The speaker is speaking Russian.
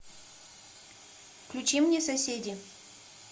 включи мне соседи